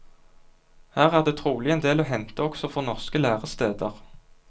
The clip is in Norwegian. Her er det trolig en del å hente, også for norske læresteder.